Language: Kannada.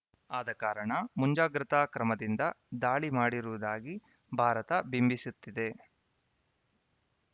ಆದ ಕಾರಣ ಮುಂಜಾಗ್ರತಾ ಕ್ರಮದಿಂದ ದಾಳಿ ಮಾಡಿರುವುದಾಗಿ ಭಾರತ ಬಿಂಬಿಸುತ್ತಿದೆ